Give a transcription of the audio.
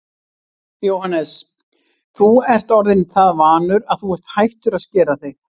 Jóhannes: En þú ert orðinn það vanur að þú ert hættur að skera þig?